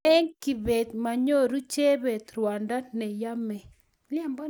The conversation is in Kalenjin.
lin kibet manyoru jebet ruondo ne yemei